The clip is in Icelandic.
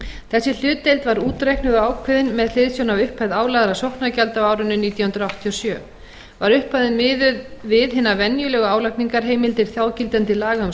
þessi hlutdeild var útreiknuð og ákveðin með hliðsjón af upphæð álagðra sóknargjalda á árinu nítján hundruð áttatíu og sjö var upphæðin miðuð við hinar venjulegu álagningarheimildir þágildandi laga um